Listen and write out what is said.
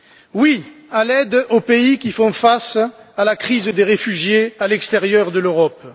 Oui à l'aide aux pays qui font face à la crise des réfugiés à l'extérieur de l'Europe.